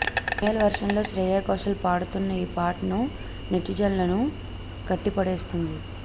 female వర్షన్లో శ్రేయా ఘోషాల్ పాడుతున్న ఈ పాటను నెటిజన్లను కట్టిపడేస్తోంది